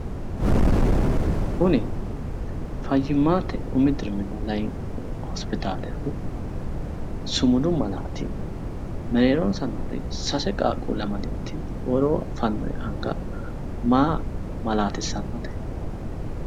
Kuni fayyimmate umi diriminna layiinki hospitaalehu sumudu malaati mereeronsa noori sase qaaqquulle amadewuti woroo fannoyi anga maa malaatissannote?